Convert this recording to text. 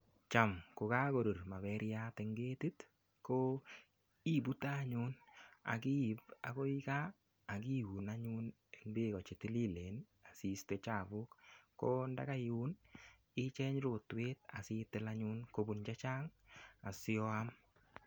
Cham kogagorur maperiat eng ketit, ko ipute anyun ak iip agoi kaa ak iun anyun eng beeko che tililen asiiste chapuk. Ko ndaga iun icheng rotwet asitil anyun kopun che chang, asioam.